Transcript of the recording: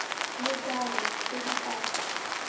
le jalo tse di ka